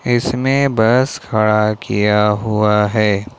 इसमें बस खड़ा किया हुआ है।